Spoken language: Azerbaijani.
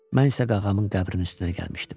Mən isə qağamın qəbrinin üstünə gəlmişdim.